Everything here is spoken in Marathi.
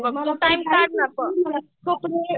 मला